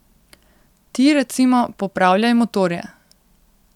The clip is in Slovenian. Ti, recimo, popravljaj motorje.